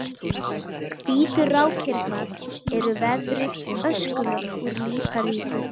Hvítu rákirnar eru veðruð öskulög úr líparíti.